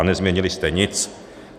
A nezměnili jste nic.